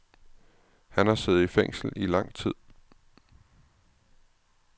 Han har siddet i fængsel i lang tid.